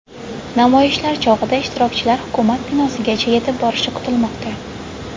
Namoyishlar chog‘ida ishtirokchilar hukumat binosigacha yetib borishi kutilmoqda.